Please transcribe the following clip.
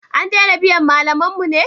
An dena biyan malaman mu ne?